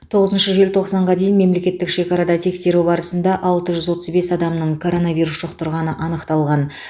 тоғызыншы желтоқсанға дейін мемлекеттік шекарада тексеру барысында алты жүз отыз бес адамның коронавирус жұқтырғаны анықталған